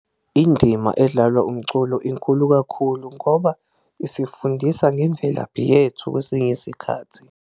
Indima edlalwa umculo inkulu kakhulu ngoba isifundisa ngemvelaphi yethu kwesinye isikhathi.